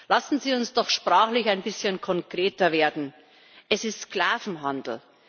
Lassen Sie uns doch sprachlich ein bisschen konkreter werden Es ist Sklavenhandel!